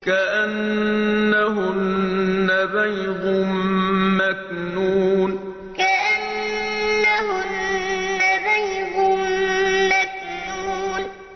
كَأَنَّهُنَّ بَيْضٌ مَّكْنُونٌ كَأَنَّهُنَّ بَيْضٌ مَّكْنُونٌ